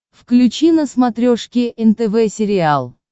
включи на смотрешке нтв сериал